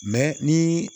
ni